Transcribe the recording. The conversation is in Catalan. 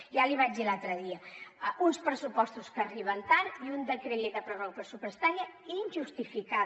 ja li ho vaig dir l’altre dia uns pressupostos que arriben tard i un decret llei de pròrroga pressupostària injustificada